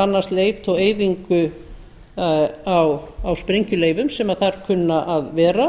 annast leit og eyðingu á sprengjuleifum sem þar kunna að vera